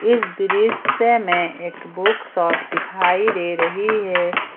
इस दृश्य में एक बुक शॉप दिखाई दे रही है।